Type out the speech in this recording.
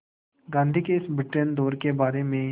गांधी के इस ब्रिटेन दौरे के बारे में